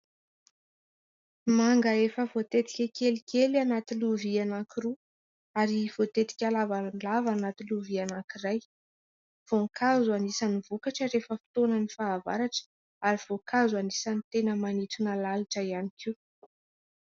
Manga efa voatetika kelikely anaty lovia anankiroa, ary voatetika lavalava anaty lovia anankiray. Voankazo anisany vokatra rehefa fotoanan'ny fahavaratra, ary voankazo anisany tena manintona lalitra ihany koa.